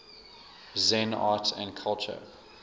zen art and culture